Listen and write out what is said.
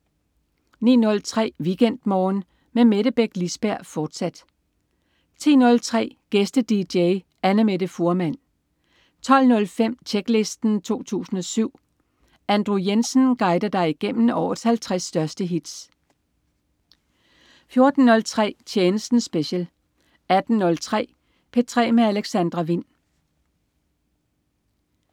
09.03 WeekendMorgen med Mette Beck Lisberg, fortsat 10.03 Gæste-dj. Annamette Fuhrmann 12.05 Tjeklisten 2007. Andrew Jensen guider dig igennem årets 50 største hits 14.03 Tjenesten special 18.03 P3 med Alexandra Wind